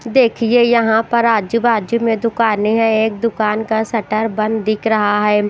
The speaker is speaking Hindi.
देखिए यहाँ पर आजू-बाजू में दुकानें हैं एक दुकान का शटर बंद दिख रहा है।